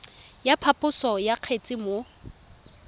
ya phaposo ya kgetse mo